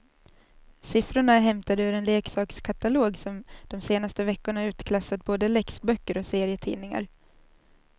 Siffrorna är hämtade ur en leksakskatalog som de senaste veckorna utklassat både läxböcker och serietidningar.